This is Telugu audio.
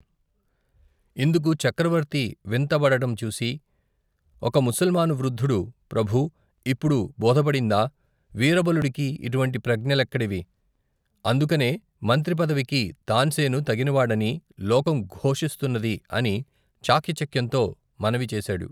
ఇందుకు చక్రవర్తి వింతపడడం చూసి, ఒక ముసల్మాను వృద్దుడు, ప్రభూ, ఇప్పుడు బోధపడిందా, వీరబలుడికి, ఇటువంటి ప్రజ్ఞ లెక్కడివి, అందుకనే, మంత్రి పదవికి, తాన్సేను తగినవాడని, లోకం ఘోషిస్తున్నది, అని, చాకచక్యంతో మనవి చేశాడు.